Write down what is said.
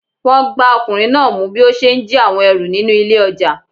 Wọn gbá ọkùnrin náà mú bí ó ṣe ń jí àwọn ẹrù nínú ilé ọjà.